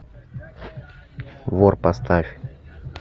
вор поставь